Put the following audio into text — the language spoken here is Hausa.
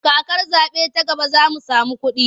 Kakar zaɓe ta gaba za mu samu kuɗi.